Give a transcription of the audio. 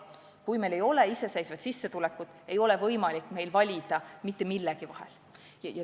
Kui meil ei ole omaenda sissetulekut, ei ole meil võimalik valida mitte millegi vahel.